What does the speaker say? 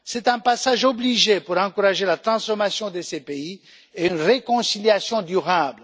C'est un passage obligé pour encourager la transformation de ces pays et une réconciliation durable.